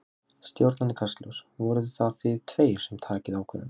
Stjórnandi Kastljóss: Voruð það þið tveir sem takið ákvörðunina?